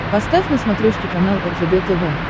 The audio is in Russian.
поставь на смотрешке канал ржд тв